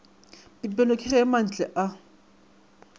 pipelo ke ge mantle a